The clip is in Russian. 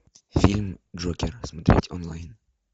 фильм джокер смотреть онлайн